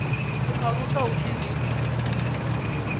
tshi aluswa hu pfi ndi